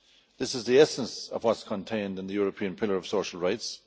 This is the essence of what is contained in the European pillar of social rights.